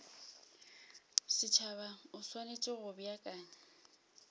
setšhaba o swanetše go beakanya